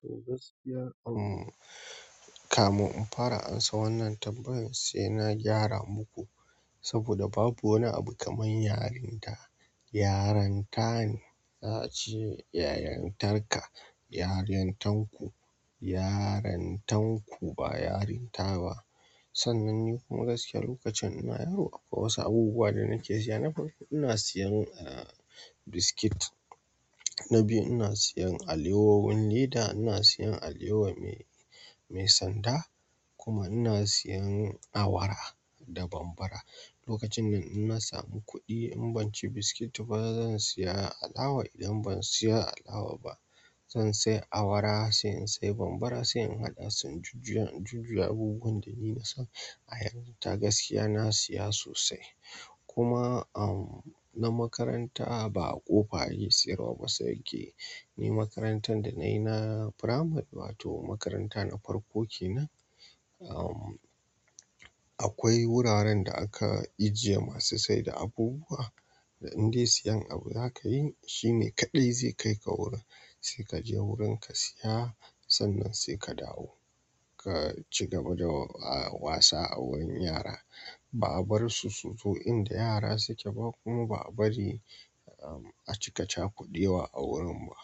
To gaskiya um kamun in fara amsa wannan tambaya sai na gyara muku, saboda babu wani abu kaman yarinta. Yaranta ne, za'ace yarantar ka, yarantan ku--yarantan ku ba yarinta ba. Sannan ni kuma gaskiya lokacin ina yaro akwai wasu abubuwa da nake sha, na farko ina sayan ah biskit na biyu ina sayan alewowin leda, ina sayan alewa mai--mai sanda kuma ina siyan awara da bambara. Lokacin nan in na samu kuɗi in ban ci biskit ba zan saya alawa idan ban saya alawa ba zan saya awara, sai in saya bambara, sai in haɗa su in jujjuya--in jujjuya abubuwan da ni na san a yaranta gaskiya na saya sosai. Kuma, am, na makaranta ba a ƙofa ake sayarwa ba sai ke ni makarantar da na yi na firamari wato makaranta na farko ke nan, am, akwai wuraren da aka ajjiye masu saida abubuwa da in dai sayan abu za ka yi shine kaɗai zai kai ka wurin sai ka je wurin ka saya sannan sai ka dawo. Ka ci gaba da, ah, wasa a wurin yara ba a bar su su zo in da yara su ke ba kuma ba a bari, ah, a cika cakudewa a wurin ba.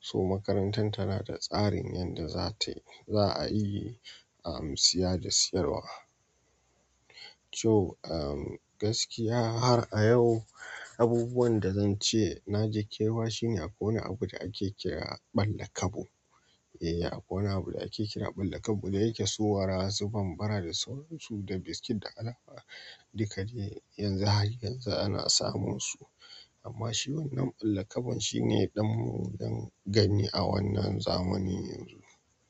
To makarantar tana da tsarin yanda zatayi --za a yi, ah, saya da sayarwa. To, ah, gaskiya har a yau abubuwan da zan ce na ji kewa shine akwai wani abu da ake kira ɓallakabu. Eh akwai wani abu da ake kira ɓallakabu da nake sayowa dasu bambara da sauransu da biskit da alawa duk ka dai yanzu har yanzu ana samun su amma shi wannan ɓallakabun shine dan mu dan gani a wannan zamani yanzu.